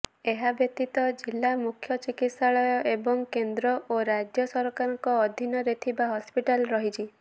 ଏହାବ୍ୟତୀତ ଜିଲା ମୁଖ୍ୟ ଚିକିତ୍ସାଳୟ ଏବଂ କେନ୍ଦ୍ର ଓ ରାଜ୍ୟ ସରକାରଙ୍କ ଅଧୀନରେ ଥିବା ହସ୍ପିଟାଲ ରହିଛି